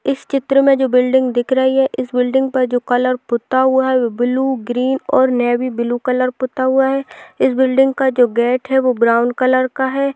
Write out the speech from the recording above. इस चित्र में जो बिल्डिंग दिख रही है इस बिल्डिंग पर जो कलर पुता हुआ है वो ब्लू ग्रीन और नेवी ब्लू कलर का पुता हुआ है इस बिल्डिंग का जो गेट है वो ब्राउन कलर का है।